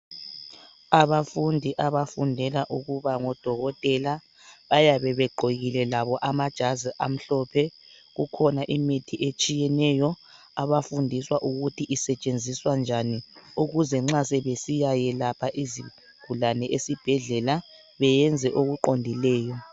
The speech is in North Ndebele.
Abafundi abafundela ukuba ngodokotela bayabe begqokile labo amajazi amhlophe. Kukhona imithi etshiyeneyo abafundiswa ukuthi isetshenziswa njani ukuze nxa sebesiyakwelapha izigulane esibhedlela benze okuqondileyo.